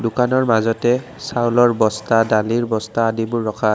দোকানৰ মাজতে চাউলৰ বস্তা দালিৰ বস্তা আদিবোৰ ৰখা আছে।